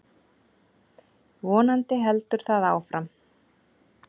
Vonandi heldur það áfram.